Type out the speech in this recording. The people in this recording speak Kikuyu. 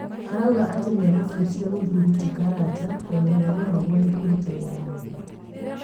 arauga atĩ nĩamũbũtire muthuri ti Karanja tondũ nĩaremagwo nĩ kũruta wĩra wega